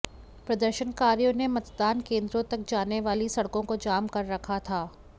प्रदर्शनकारियों ने मतदान केंद्रों तक जाने वाली सड़कों को जाम कर रखा था